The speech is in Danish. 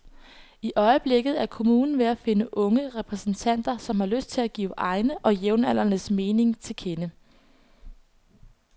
I øjeblikket er kommunen ved at finde unge repræsentanter, som har lyst til at give egne og jævnaldrendes mening til kende.